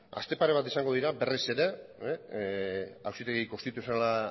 aste pare bat izango dira berriz ere auzitegi konstituzionala